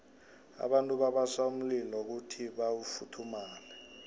abantu babasa umlilo kuyhi bafuthumale